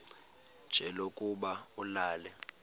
nje lokuba ulale